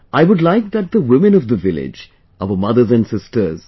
I would like that to the women of village, to our mothers and sisters...